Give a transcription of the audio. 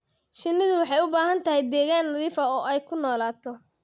Shinnidu waxay u baahan tahay deegaan nadiif ah oo ay ku noolaato.